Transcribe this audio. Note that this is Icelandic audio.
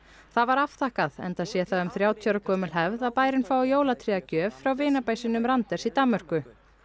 það var afþakkað enda sé það um þrjátíu ára gömul hefð að bærinn fái jólatré að gjöf frá vinabæ sínum Randers í Danmörku